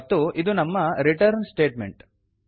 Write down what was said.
ಮತ್ತು ಇದು ನಮ್ಮ ರಿಟರ್ನ್ ಸ್ಟೇಟ್ಮೆಂಟ್